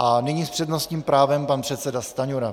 A nyní s přednostním právem pan předseda Stanjura.